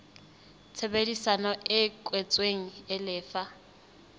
tshebedisano e kwetsweng e lefa